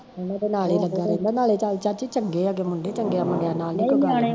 ਓਹਨਾਂ ਦੇ ਨਾਲ਼ ਹੀਂ ਲੱਗਾ ਰਹਿੰਦਾ ਨਾਲੇ ਚੱਲ ਚਾਚੀ ਚੰਗੇ ਆ ਗੇ ਮੁੰਡੇ, ਚੰਗਿਆ ਮੁੰਡਿਆ ਨਾਲ਼ ਨੀ ਕੋਈ ਗੱਲ ਹੁੰਦੀ